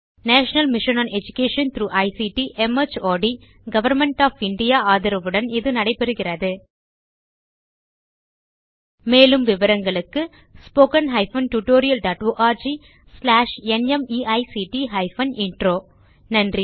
national mission on education through ICT MHRD government of India ஆதரவுடன் இது நடைபெறுகிறது மேலும் விவரங்களுக்கு spoken hyphen tutorial dot org slash NMEICT hyphen intro நன்றி